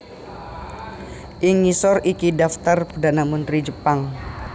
Ing ngisor iki dhaftar perdhana mentri Jepang